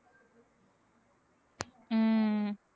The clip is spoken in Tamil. உம்